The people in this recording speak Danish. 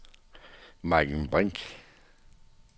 Maiken Brink